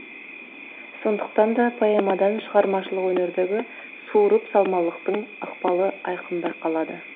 сондықтан да поэмадан шығармашылық өнердегі суырып салмалықтың ықпалы айқын байқалады